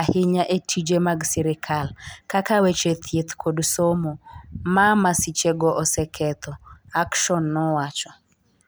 ahinya e tije mag sirkal, kaka weche thieth kod somo, ma masichego oseketho, Action nowacho.